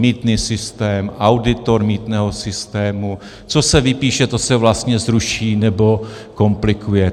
Mýtný systém, auditor mýtného systému, co se vypíše, to se vlastně zruší, nebo komplikuje.